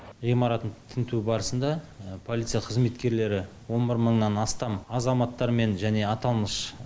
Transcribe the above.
ғимаратын тінту барысында полиция қызметкерлері он бір мыңнан астам азаматтармен және аталмыш